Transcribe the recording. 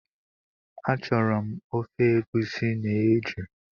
Achọrọ m ofe egusi na eju